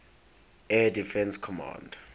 air defense command